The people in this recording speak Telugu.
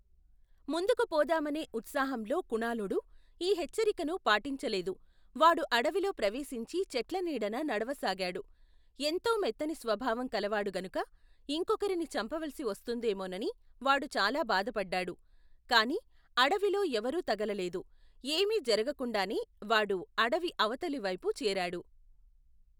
ముందుకు పోదామనే ఉత్సాహంలో కుణాళుడు, ఈ హెచ్చరికను పాటించలేదు, వాడు అడవిలో ప్రవేశించి చెట్ల నీడన నడవ సాగాడు, ఎంతో మెత్తని స్వభావం కలవాడు గనుక ఇంకొకరిని చంపవలిసి వస్తుందేమోనని వాడు చాలాభాధపడ్డాడు, కాని, అడవిలో ఎవరూ తగలలేదు ఏమీ జరగకుండానే వాడు అడవి అవతలివైపు చేరాడు.